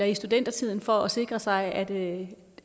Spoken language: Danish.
i studietiden for at sikre sig at